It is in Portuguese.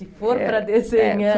Se for para desenhar... É, é.